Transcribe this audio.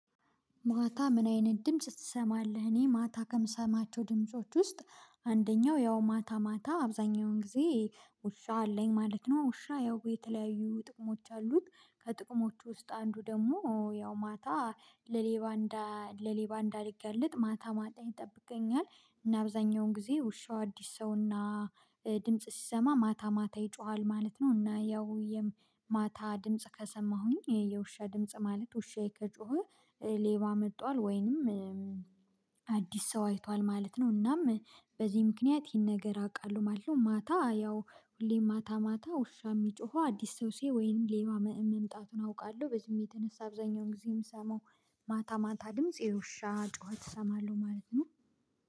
ማታ ምን አይነት ድምጽ ትሰማለህ? እኔ ማታ ከምሰማቸው ድምጾች ውስጥ አንደኛው ያው ማታ ማታ አብዛኛውን ጊዜ ውሻ አለኝ ማለት ነው። ውሻ ያው የተለያዩ ጥቅሞች አሉት። ከጥቅሞቹ ውስጥ አንዱ ደግሞ ያው ማታ ለሌባ ለሌባ እንዳይገለጥ ማታ ማታ ይጠብቀኛል። እና አብዛኛውን ጊዜ ውሻው አዲስ ሰውና ድምጽ ሲሰማ ማታ ማታ ይጮሃል ማለት ነው። እና ያው የማታ ድምጽ ከሰማሁኝ የውሻ ድምጽ ማለት ውሻዬ ከጮኸ። ሌባ መጥቷል ወይንም አዲስ ሰው አይቷል ማለት ነው። እናም በዚህ ምክንያት ይሄን ነገር አውቃለሁ ማለት ነው። ማታ ያው ሁሌም ማታ ማታ ውሻ የሚጮሁ አዲስ ሰው ሲያይ ወይንም ሌባ መምጣቱን አውቃለሁ። በዚህም የተነሳ አብዛኛውን ጊዜ የምሰማው ማታ ማታ ድምጽ የውሻ ጩኸት እሰማለሁ ማለት ነው